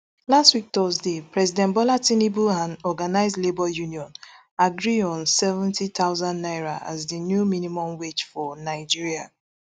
last week thursday president bola tinubu and organised labour union agree on seventy thousand naira as di new minimum wage for nigeria